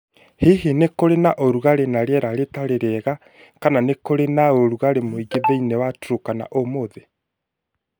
Hihi nĩ kũrĩ na ũrugarĩ na rĩera rĩtarĩ rĩega kana nĩ kũrĩ na ũrugarĩ mũingĩ thĩinĩ wa Turkana ũmũthĩ?